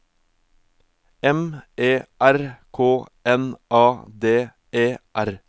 M E R K N A D E R